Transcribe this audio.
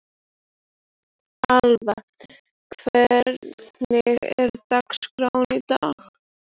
Alva, hvernig er dagskráin í dag?